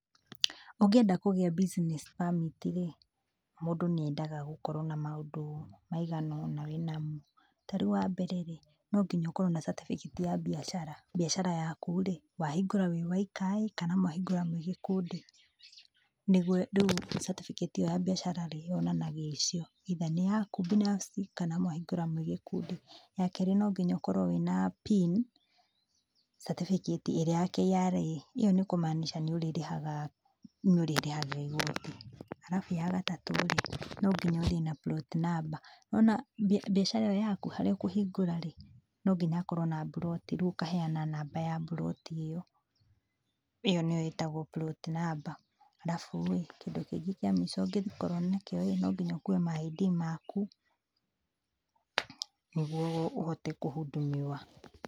Ũngĩenda kũgĩa business permit rĩ, mũndũ nĩendaga gũkorwo na maũndũ maigana ũna wĩnamo, tarĩu wambere rĩ, no nginya ũkorwo na certificate ya mbiacara, mbiacara yaku rĩ, wahingũra wĩ woikaĩ kana mwahingũra mwĩ gĩkundi? Nĩguo rĩu certificate ĩyo ya mbiacara yonanagia icio either nĩ yaku binafsi kana mwahingũra mwĩ gĩkundi, ya kerĩ no nginya ũkorwo wĩna pin certificate ĩrĩa ya KRA. ĩyo nĩ kũmaanica rĩu nĩ ũrĩrĩhaga nĩ ũrĩrĩhagĩra igoti, arabu ya gatatũ no nginya ũthiĩ na plot number. Nĩwona mbiacara ĩyo yaku, harĩa ũkũhingũra rĩ, no nginya hakorwo na mburoti rĩu ũkaheana namba ya mburoti ĩyo. ĩyo nĩyo ĩtagwo plot number. Arabuĩ kĩndũ kĩngĩ kĩa mũico ũngĩkorwo nakĩo ĩ, no nginya ũkue ma ID maku nĩguo ũhote kũhUndumiwa.